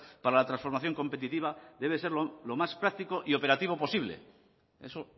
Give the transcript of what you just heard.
para la transformación competitiva debe ser lo más práctico y operativo posible eso